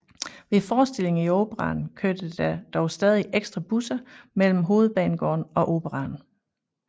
Ved forestillinger i Operaen kørte der dog stadig ekstra busser mellem Hovedbanegården og Operaen